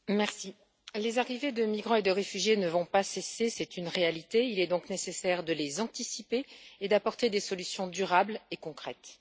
Madame la Présidente, les arrivées de migrants et de réfugiés ne vont pas cesser, c'est une réalité. Il est donc nécessaire de les anticiper et d'apporter des solutions durables et concrètes.